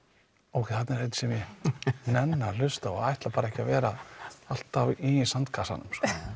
ókei þarna er einn sem ég nenni að hlusta á hann ætlar bara ekki að vera alltaf í sandkassanum